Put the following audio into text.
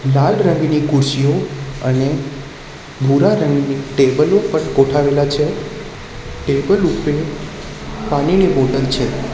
લાલ રંગની ખુરસીઓ અને ભૂરા રંગની ટેબલો પર ગોઠાવેલા છે ટેબલ ઉપર પાણીની બોટલ છે.